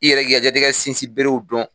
I yɛrɛ k'i ka diɲɛlatigɛ sinsin berew dɔn